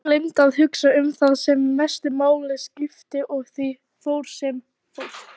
Hún gleymdi að hugsa um það sem mestu máli skipti og því fór sem fór.